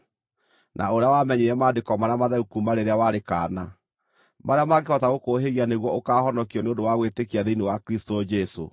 na ũrĩa wamenyire Maandĩko marĩa matheru kuuma rĩrĩa warĩ kaana, marĩa mangĩhota gũkũũhĩgia nĩguo ũkaahonokio nĩ ũndũ wa gwĩtĩkia thĩinĩ wa Kristũ Jesũ.